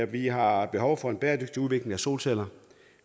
vi har behov for en bæredygtig udvikling af solceller